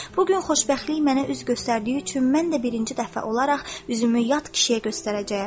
Bu gün xoşbəxtlik mənə üz göstərdiyi üçün mən də birinci dəfə olaraq üzümü yad kişiyə göstərəcəyəm.